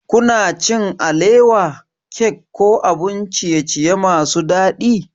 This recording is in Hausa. Kuna cin alewa, cake ko abun ciye-ciye masu daɗi?